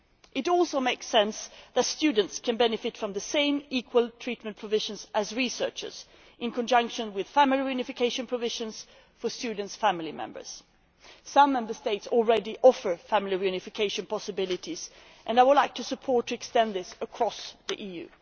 It also makes sense that students can benefit from the same equal treatment provisions as researchers, in conjunction with family reunification provisions for students' family members. Some Member States already offer family reunification possibilities and I would like to support this being extended across the EU.